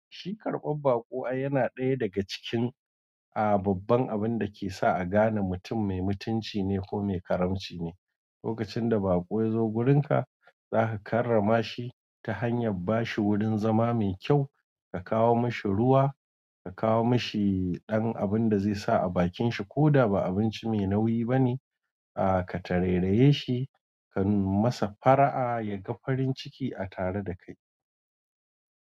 Shi karɓar baƙo ai yana ɗaya daga cikin a babban abun dake sa a gane mutum me mutunci ne ko me karamci ne. Lokacin da baƙo ya zo gurinka, za ka karrama shi ta hanyar bashi wurin zama mai kyau, ka kawo mashi ruwa, ka kawo mashi ɗan abun da zai sa a bakin shi ko da ba abinci mai nauyi bane. A ka tarairaye shi, ka nuna masa fara'a, ya ga farin ciki a tare da kai.